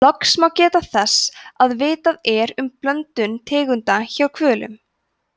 loks má geta þess að vitað er um blöndun tegunda hjá hvölum